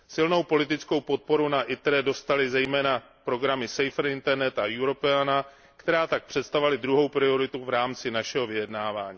Silnou politickou podporu ve výboru ITRE dostaly zejména programy Safer Internet a Europeana, které tak představovaly druhou prioritu v rámci našeho vyjednávání.